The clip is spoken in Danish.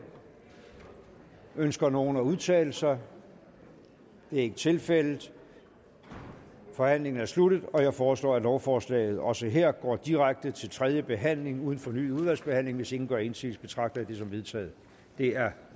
ønsker nogen at udtale sig det er ikke tilfældet forhandlingen er sluttet jeg foreslår at lovforslaget også her går direkte til tredje behandling uden fornyet udvalgsbehandling hvis ingen gør indsigelse betragter jeg det som vedtaget det er